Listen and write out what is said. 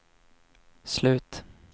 slut